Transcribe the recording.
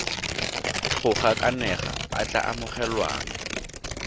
go gakanega a tla amogelwang